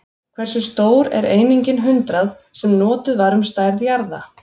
Hversu stór er einingin hundrað, sem notuð var um stærð jarða?